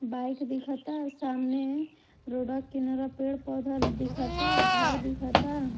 Bike दिखता सामने रोडवा के किनारवा पेड़-पौधा दिखता घर दिखता।